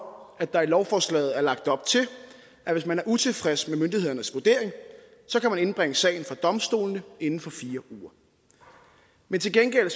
at der i lovforslaget er lagt op til at hvis man er utilfreds med myndighedernes vurdering kan man indbringe sagen for domstolene inden for fire uger men til gengæld er